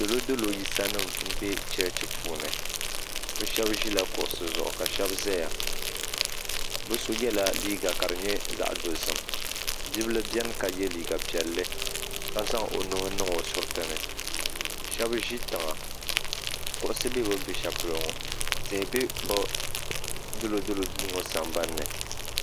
Dolodolo yisa nima m be bɛ sheba ʒila kuɣusi zuɣu ka sheba zaya bɛ so yela liiga ka di nyɛ zaɣa dozim bibila biɛni ka ye liiga ka si nyɛ zaɣa piɛlli ka zaŋ o nuhi niŋ o suritini sheba ʒi tiŋa kuɣusi be bini be shelipolo ŋɔ tihi be bɛ dolodolo duu ŋɔ sambanni.